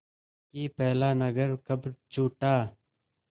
कि पहला नगर कब छूटा